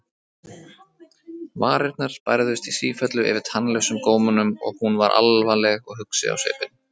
Varirnar bærðust í sífellu yfir tannlausum gómunum og hún var alvarleg og hugsi á svipinn.